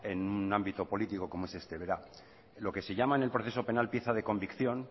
en un ámbito político como es este verá lo que se llama en el proceso penal pieza de convicción